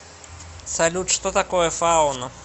салют что такое фауна